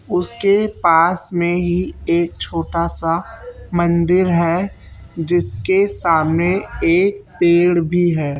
उसके पास में ही एक छोटा सा मंदिर है जिसके सामने एक पेड़ भी है।